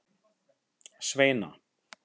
Sveina